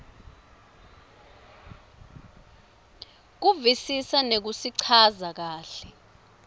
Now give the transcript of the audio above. kuvisisa nekusichaza kahle